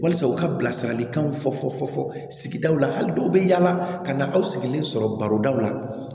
Walisa u ka bilasiralikanw fɔ fɔ fɔ sigidaw la hali dɔw bɛ yaala ka na aw sigilen sɔrɔ barodaw la